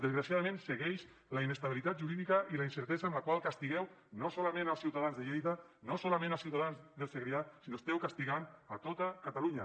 desgraciadament segueix la inestabilitat jurídica i la incertesa amb la qual castigueu no solament als ciutadans de lleida no solament als ciutadans del segrià sinó que esteu castigant a tota catalunya